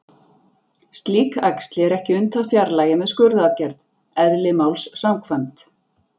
Slík æxli er ekki unnt að fjarlægja með skurðaðgerð, eðli máls samkvæmt.